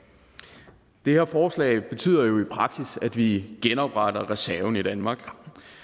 det her forslag betyder jo i praksis at vi genopretter reserven i danmark